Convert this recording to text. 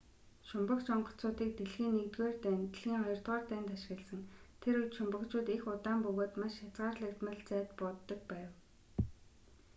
шумбагч онгоцуудыг дэлхийн i дайн дэлхийн ii дайнд ашигласан тэр үед шумбагчууд их удаан бөгөөд маш хязгаарлагдмал зайд бууддаг байв